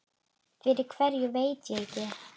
Fyrir hverju veit ég ekki.